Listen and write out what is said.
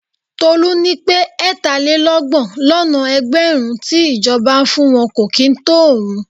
Tolu ní pé ẹ̀tàlélọ́gbọ̀n lọ́nà ẹgbẹ̀rún tí ìjọba ń fún wọn kò kì í tó òun.